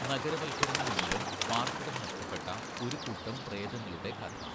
നഗരവൽക്കരണം മൂലം പാർപ്പിടം നഷ്ടപ്പെട്ട ഒരു കൂട്ടം പ്രേതങ്ങളുടെ കഥ.